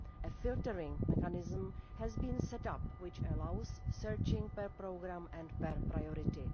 A filtering mechanism has been set up which allows searching per programme and per priority.